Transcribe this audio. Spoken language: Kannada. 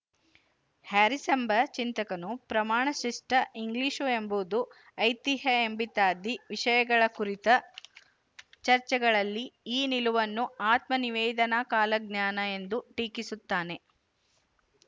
ಹ್ಯಾರಿಸ್ ಎಂಬ ಚಿಂತಕನು ಪ್ರಮಾಣಶಿಷ್ಟ ಇಂಗ್ಲಿಶು ಎಂಬುದು ಐತಿಹ್ಯ ಎಂಬಿತ್ಯಾದಿ ವಿಶಯಗಳ ಕುರಿತ ಚರ್ಚೆಗಳಲ್ಲಿ ಈ ನಿಲುವನ್ನು ಆತ್ಮ ನಿವೇದನಾ ಕಾಲಜ್ಞಾನ ಎಂದು ಟೀಕಿಸುತ್ತಾನೆ